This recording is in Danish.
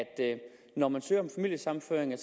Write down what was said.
når man søger om familiesammenføring